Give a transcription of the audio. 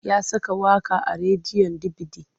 Ya saka waƙa a rediyon dibidi.